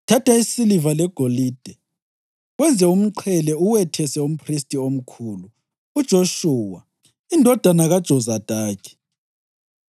Thatha isiliva legolide wenze umqhele uwethese umphristi omkhulu uJoshuwa indodana kaJozadaki.